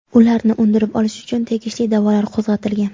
Ularni undirib olish uchun tegishli da’volar qo‘zg‘atilgan.